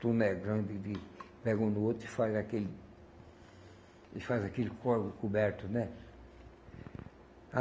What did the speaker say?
Tuna é grande de, pega um no outro e faz aquele... e faz aquele corvo coberto, né?